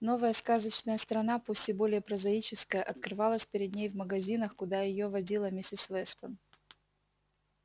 новая сказочная страна пусть и более прозаическая открывалась перед ней в магазинах куда её водила миссис вестон